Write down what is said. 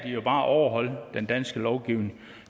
de jo bare overholde den danske lovgivning